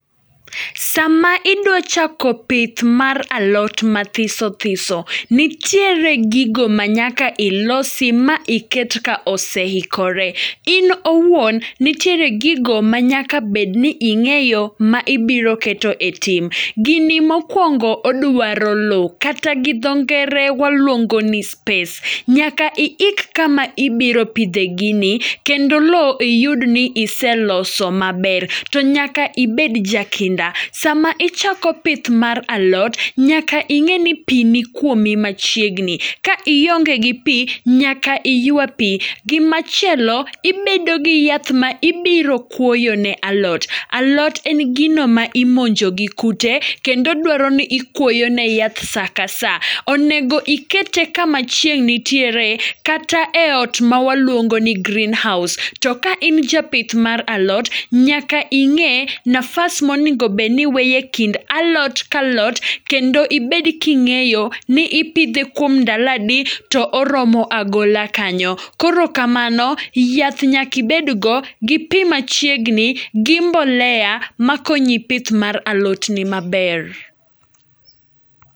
Sama idwa chako pith mar alot mathiso thiso, nitiere gigo ma nyaka ilosi ma iket ka oseikore. In owuon nitiere gigo ma nyaka bedni ing'eyo ma ibiro keto e tim. Gini mokwongo odwaro lo, kata gi dho ngere waluongo ni space. Nyaka iik kama ibiro pidhe gini, kendo lo iyud ni iseloso maber, to nyaka ibed ja kinda. Sama ichako pith mar alot, nyaka ing'e ni pi nikwomi machiegni. Ka ionge gi pi, nyaka iywa pi. Gimachielo, ibedo gi yath ma ibiro kuoyo ne alot, alot en gino ma imonjo gi kute, kendo dwaro ni ikwoyone yath sa ka sa. Onego ikete kama chieng' nitiere, kata e ot ma waluongo ni green house. To ka in japith mar alot, nyaka ing'e nafas monegobedni iweyo e kind alot kalot. Kendo ibed king'eyo ni ipidhe kuom ndaladi to oromo agola kanyo. Koro kamano, yath nyakibed godo gi pi machiegni, gi mbolea, ma konyi pith mar alotni maber.